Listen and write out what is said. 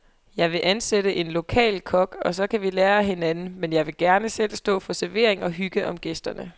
Jeg vil ansætte en lokal kok, og så kan vi lære af hinanden, men jeg vil gerne selv stå for servering og hygge om gæsterne.